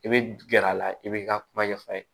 I bɛ gɛrɛ a la i b'i ka kuma ɲɛf'a ye